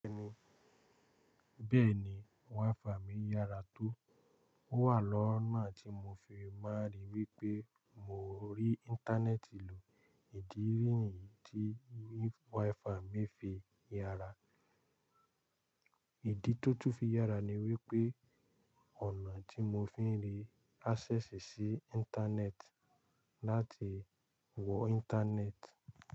Bẹ́ẹ̀ni, WiFi mi yára tó. Ó wà lọ́nà tí mo fi máa rí wípé mo rí Íńtánẹ́ẹ̀tì lò. Ìdí ni yi tí WiFi mi fi yára, ìdí tó tún fi yára ni wípé ọ̀nà tí mo fi ń rí áṣẹ́sìì sí Íńtánẹ́ẹ̀tì láti wọ Íńtánẹ́ẹ̀tì.